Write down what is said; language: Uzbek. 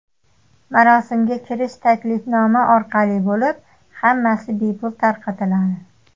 Marosimga kirish taklifnoma orqali bo‘lib, hammasi bepul tarqatiladi.